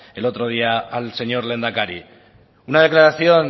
el otro día al señor lehendakari una declaración